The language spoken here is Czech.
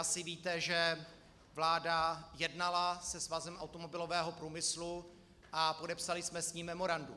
Asi víte, že vláda jednala se Svazem automobilového průmyslu a podepsali jsme s ním memorandum.